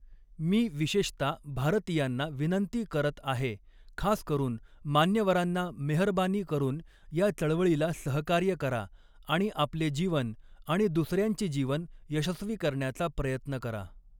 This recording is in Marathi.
मी विषेशता भारतियांना वीनंती करत आहे ख़ास करून मान्यवरांना मेहरबानी करून या चळवळीला सहकार्य करा आणि आपले जीवन आणि दुसऱ्यांचे जीवन यशस्वी करण्याचा प्रयत्न करा.